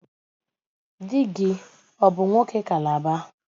Di gi ọ bụ nwoke Calabar?